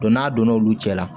n'a donna olu cɛ la